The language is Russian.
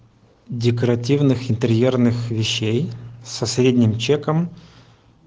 декоративных интерьерных вещей со средним чеком